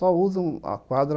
Só usam a quadra